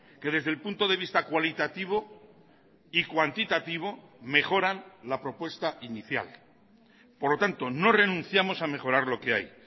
que desde el punto de vista cualitativo y cuantitativo mejoran la propuesta inicial por lo tanto no renunciamos a mejorar lo que hay